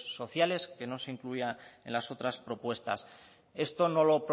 sociales que no se incluya en las otras propuestas esto